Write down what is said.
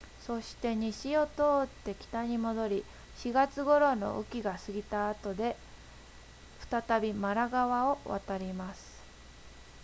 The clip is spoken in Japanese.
そして西を通って北に戻り4月頃の雨季が過ぎた後で再びマラ川を渡ります